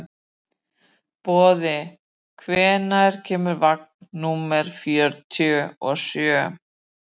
Boði, hvenær kemur vagn númer fjörutíu og sjö?